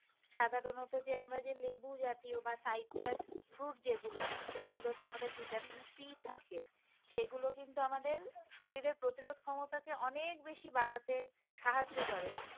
সাধারণত লেবু জাতীয় বা citrus fruit যেগুলো যেগুলোতে আমাদের ভিটামিন c থাকে। সেগুলো কিন্তু আমাদের শরীরের প্রতিরোধ ক্ষমতা কে অনেক বেশি বাড়াতে সাহায্য করে।